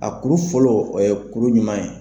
A kuru fɔlɔ o ye kuru ɲuman ye.